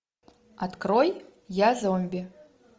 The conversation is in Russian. открой я зомби